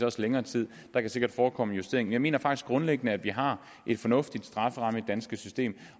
også længere tid der kan sikkert forekomme justeringer jeg mener faktisk grundlæggende at vi har en fornuftig strafferamme i det danske system